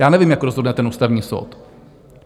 Já nevím, jak rozhodne ten Ústavní soud.